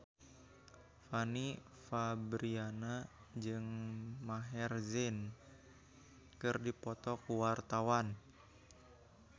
Fanny Fabriana jeung Maher Zein keur dipoto ku wartawan